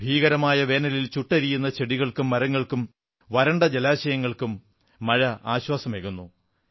ഭീകരമായ വേനലിൽ ചുട്ടെരിയുന്ന ചെടികൾക്കും മരങ്ങൾക്കും വരണ്ട ജലാശയങ്ങൾക്കും മഴ ആശ്വാസമേകുന്നു